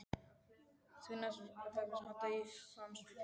Þá var næst að hefjast handa í Hvammsvík.